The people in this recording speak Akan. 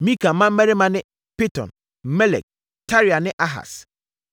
Mika mmammarima ne: Piton, Melek, Tarea ne Ahas.